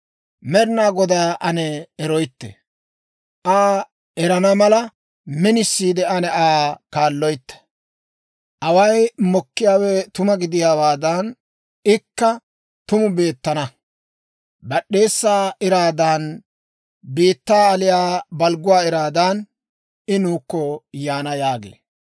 Med'inaa Godaa ane eroytte; Aa erana mala, minisiide ane Aa kaalloytte. Away mokkiyaawe tuma gidiyaawaadan, ikka tumu beettana. Bad'd'eesaa iraadan, biittaa aliyaa balgguwaa iraadan, I nuukko yaana» yaagee.